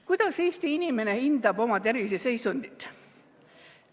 Kuidas Eesti inimene hindab oma terviseseisundit?